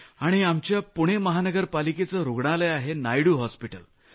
आणि आमच्या पुणे महानगरपालिकेचं रूग्णालय आहे नायडू हॉस्पिटल